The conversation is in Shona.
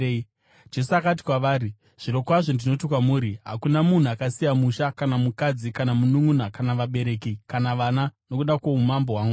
Jesu akati kwavari, “Zvirokwazvo ndinoti kwamuri, hakuna munhu akasiya musha, kana mukadzi, kana mununʼuna, kana vabereki, kana vana nokuda kwoumambo hwaMwari,